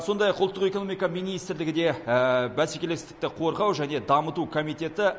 сондай ақ ұлттық экономика министрлігі де бәсекелестікті қорғау және дамыту комитеті